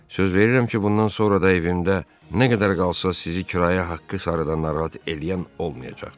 Söz verirəm ki, bundan sonra da evimdə nə qədər qalsa sizi kirayə haqqı sarıdan narahat eləyən olmayacaq.